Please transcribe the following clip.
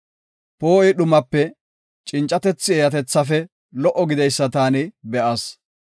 Poo7oy dhumape, cincatethi eeyatethafe lo77o gideysa taani be7as.